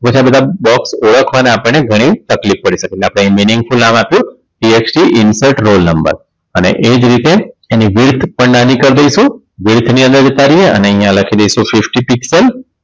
પછી આ બધા box ઓળખવામાં આપણને ઘણી તકલીફ પડી શકે એટલે આપણે meaningful નામ આપ્યું TXT insert roll number અને એ જ રીતે એની width પણ નાની કર દઈશું width ની અંદર જતા રહીએ અને અહીંયા લખી દઈશું sixty six one